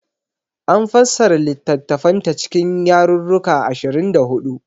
An fassara littattafanta cikin yarruruka ashirin da huɗu.